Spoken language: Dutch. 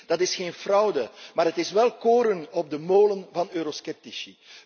Ik weet, dat is geen fraude, maar het is wel koren op de molen van eurosceptici.